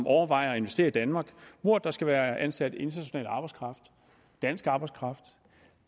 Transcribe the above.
overvejer at investere i danmark hvor der skal være ansat internationalt arbejdskraft og dansk arbejdskraft